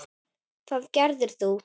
Það gerðir þú.